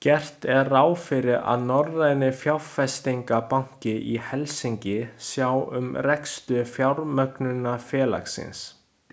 Gert er ráð fyrir að Norræni fjárfestingarbankinn í Helsinki sjái um rekstur fjármögnunarfélagsins.